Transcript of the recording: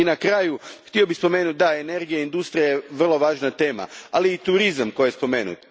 I na kraju, htio bih spomenuti, da, energija i industrija su vrlo važna tema, ali i turizam, koji je spomenut.